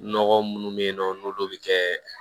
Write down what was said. Nɔgɔ munnu be yen nɔ n'olu be kɛ